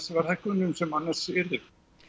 verðhækkunum sem annars yrðu